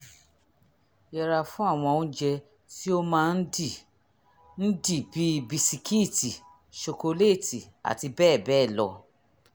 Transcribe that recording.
yẹra fún àwọn oúnjẹ tí ó máa ń dì ń dì bíi bisikíìtì ṣokoléètì àti bẹ́ẹ̀ bẹ́ẹ̀ lọ